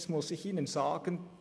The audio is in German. Jetzt muss ich Ihnen sagen: